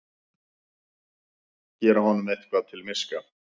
Gera honum eitthvað til miska!